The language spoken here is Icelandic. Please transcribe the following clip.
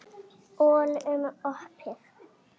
Öllum opið.